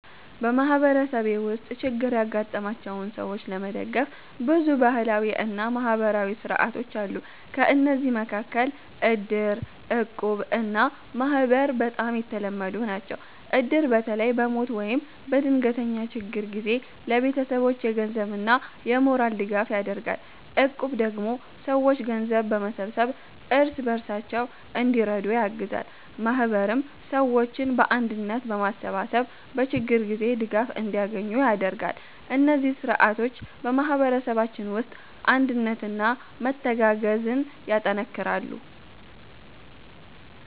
በማህበረሰቤ ውስጥ ችግር ያጋጠማቸውን ሰዎች ለመደገፍ ብዙ ባህላዊ እና ማህበራዊ ሥርዓቶች አሉ። ከእነዚህ መካከል እድር፣ እቁብ እና ማህበር በጣም የተለመዱ ናቸው። እድር በተለይ በሞት ወይም በድንገተኛ ችግር ጊዜ ለቤተሰቦች የገንዘብና የሞራል ድጋፍ ያደርጋል። እቁብ ደግሞ ሰዎች ገንዘብ በመሰብሰብ እርስ በርሳቸው እንዲረዱ ያግዛል። ማህበርም ሰዎችን በአንድነት በማሰባሰብ በችግር ጊዜ ድጋፍ እንዲያገኙ ያደርጋል። እነዚህ ሥርዓቶች በማህበረሰባችን ውስጥ አንድነትና መተጋገዝን ያጠናክራሉ።